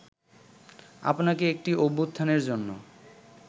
আপনাকে একটি অভ্যুত্থানের জন্য